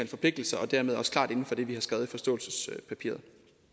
forpligtelser og dermed også klart inden for det vi har skrevet i forståelsespapiret